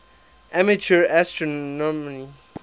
amateur astronomy